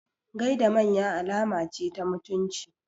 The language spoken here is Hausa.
Gaida manya alama ce ta mutunci.